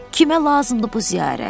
Kimə lazımdır bu ziyarət?